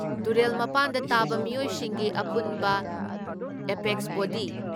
ꯇꯨꯔꯦꯜ ꯃꯄꯥꯟꯗ ꯇꯥꯕ ꯃꯤꯑꯣꯏꯁꯤꯡꯒꯤ ꯑꯄꯨꯟꯕ ꯑꯦꯄꯦꯛꯁ ꯕꯣꯗꯤ